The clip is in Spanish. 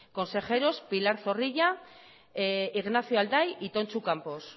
consejeros pilar zorrilla ignacio alday y tontxu campos